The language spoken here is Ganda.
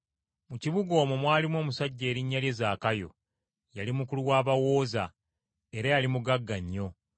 Mu kibuga omwo mwalimu omusajja erinnya lye Zaakayo; yali mukulu wa bawooza, era yali mugagga nnyo.